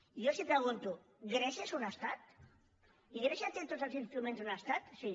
jo els pregunto grècia és un estat i grècia té tots els instruments d’un estat sí